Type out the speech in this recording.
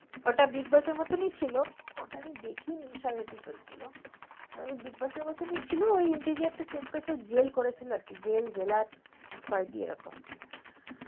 ওটা bigboss মতনই ছিল ওটাকে আমি দেখিই নিএই সব episode গুলো bigboss মতনই ছিলওই টা interior change jail করেছিল আর কি jail lailar কোয়াদী এরকম আর